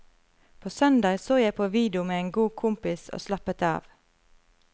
På søndag så jeg på video med en god kompis og slappet av.